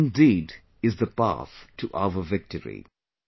This indeed is the path to our victory